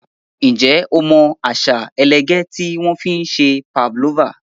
Ǹjẹ́ o mọ àṣà ẹlẹgẹ́ tí wọ́n fi ń se pavlova?